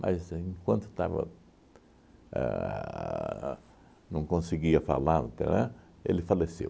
Mas aí enquanto estava a não conseguia falar no, ele faleceu.